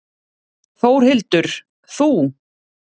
Þórhildur: Þú?